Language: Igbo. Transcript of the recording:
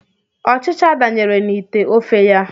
Ọchịcha danyere n'ite ofe ya.